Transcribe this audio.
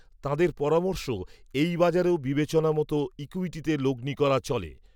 তাঁদের পরামর্শ এই বাজারেও বিবেচনা মতো ইক্যূইটিতে লগ্নি করা চলে